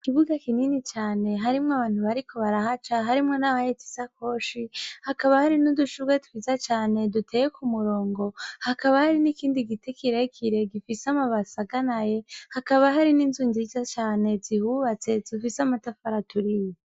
Ikibuga kinini cane harimwo abantu bariko barahaca harimwo n'abahetisa koshi hakaba hari n'udushurwe twiza cane duteye ku murongo hakaba hari n'ikindi gitikirekire gifise amabasaganaye hakaba hari n'inzu nziza cane zihubatse zufise amatafara turiye.